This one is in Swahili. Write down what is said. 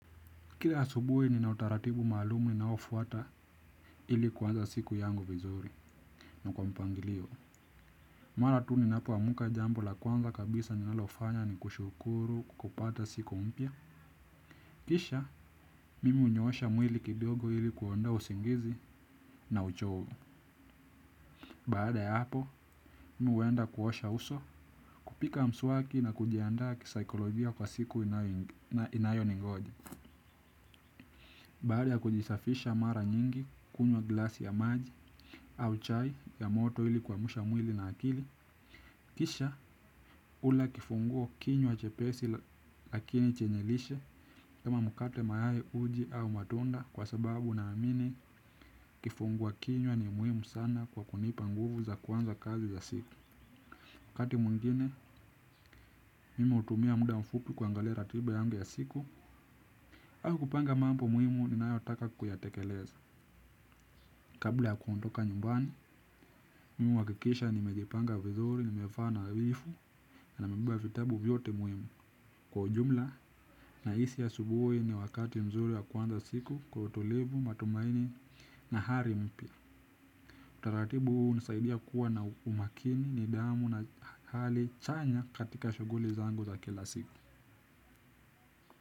Kila asubuhi nina utaratibu maalumu ninaofuata ili kuanza siku yangu vizuri na kwa mpangilio. Mara tu ninapoamka jambo la kwanza kabisa ninalofanya ni kushukuru kupata siku mpya. Kisha, mimi hunyosha mwili kidogo ili kuondoa usingizi na uchovu. Baada ya hapo, mimi huenda kuosha uso, kupiga mswaki na kujiandaa kisaikolojia kwa siku inayoningoja. Baada ya kujisafisha mara nyingi kunywa gilasi ya maji au chai ya moto ili kuamsha mwili na akili. Kisha hula kifunguo kinywa chepesi lakini chenye lishe kama mkate mayai uji au matunda kwa sababu naamini kifungua kinywa ni muhimu sana kwa kunipa nguvu za kuanza kazi za siku wakati mwingine mimi hutumia muda mfupi kuangalia ratiba yangu ya siku au kupanga mambo muhimu ninayotaka kuyatekeleza. Kabla ya kuondoka nyumbani, mimi huhakikisha nimejipanga vizuri, nimevaa nadhifu, na nimebeba vitabu vyote muhimu kwa ujumla. Nahisi asubuhi ni wakati mzuri wa kuanza siku kwa utulivu, matumaini, na ari mpya. Utaratibu huu hunisaidia kuwa na umakini nidhamu na hali chanya katika shughuli zangu za kila siku.